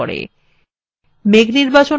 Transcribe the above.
মেঘ নির্বাচন করুন